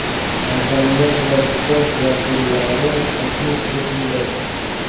madaniyat va sport vakillari taklif etildi.